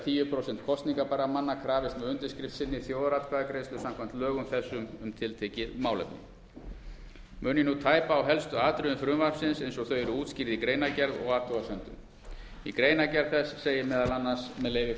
tíu prósent kosningarbærra manna krafist með undirskrift sinni þjóðaratkvæðagreiðslu samkvæmt lögum þessum um tiltekið málefni mun ég nú tæpa á helstu atriðum frumvarpsins eins og þau eru útskýrð í greinargerð og afhugasemdum í greinargerð þess segir meðal annars með leyfi